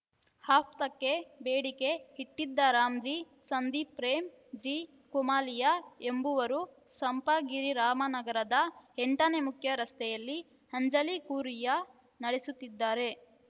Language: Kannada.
ಹಫ್ತಾಕ್ಕೆ ಬೇಡಿಕೆ ಇಟ್ಟಿದ್ದ ರಾಮ್‌ಜೀ ಸಂದೀಪ್‌ ಪ್ರೇಮ್‌ ಜೀ ಕುಮಲಿಯಾ ಎಂಬುವರು ಸಂಪಂಗಿರಾಮನಗರದ ಎಂಟನೇ ಮುಖ್ಯರಸ್ತೆಯಲ್ಲಿ ಅಂಜಲಿ ಕೂರಿಯ ನಡೆಸುತ್ತಿದ್ದಾರೆ